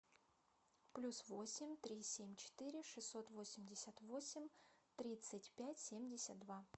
плюс восемь три семь четыре шестьсот восемьдесят восемь тридцать пять семьдесят два